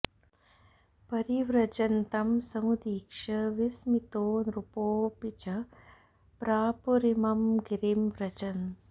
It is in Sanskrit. परिव्रजन्तं समुदीक्ष्य विस्मितो नृपोऽपि च प्रापुरिमं गिरिं व्रजन्